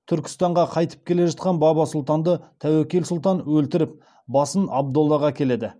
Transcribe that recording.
түркістанға қайтып келе жатқан баба сұлтанды тәуекел сұлтан өлтіріп басын абдоллаға әкеледі